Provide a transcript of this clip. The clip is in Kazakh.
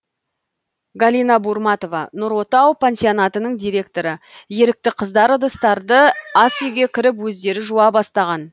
галина бурматова нұр отау пансионатының директоры ерікті қыздар ыдыстарды асүйге кіріп өздері жуа бастаған